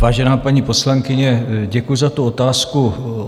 Vážená paní poslankyně, děkuji za tu otázku.